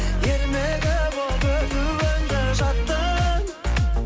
ермегі болып өтуіңді жаттың